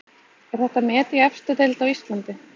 Er þetta met í efstu deild á Íslandi?